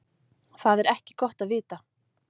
Það er ekki gott að vita.